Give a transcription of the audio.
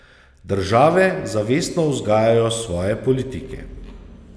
Države zavestno vzgajajo svoje politike.